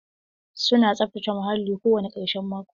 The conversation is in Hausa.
Su na saftace muhalli kowane ƙarshen mako.